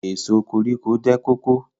Èso koríko jẹ́ kóko.